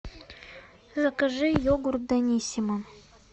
закажи йогурт даниссимо